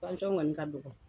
kɔni ka dɔɔgɔ.